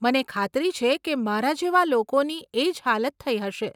મને ખાતરી છે કે મારા જેવાં લોકોની એજ હાલત થઇ હશે.